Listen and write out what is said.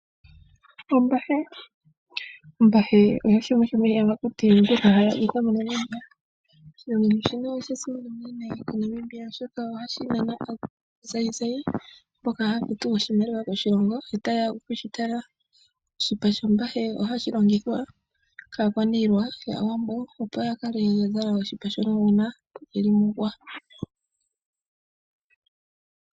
Ombahe, ombahe oyo shimwe shomiiyamakuti mbyoka haya adhikwa, oshinamwenyo shino oshasimana unene moNamibia, oshoka ohashi nana aazayizayi mboka haya futu oshimaliwa koshilongo, Oshipa shombahe ohashi longithwa kaakwaniila yAawambo, opo ya kale ya zala oshipa shono uuna ye li mUuwa.